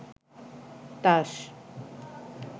তাস